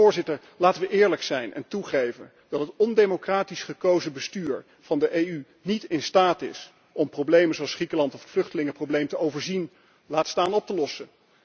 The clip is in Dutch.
Dus laten we eerlijk zijn en toegeven dat het ondemocratisch gekozen bestuur van de EU niet in staat is om problemen zoals Griekenland of het vluchtelingenprobleem te overzien, laat staan op te lossen.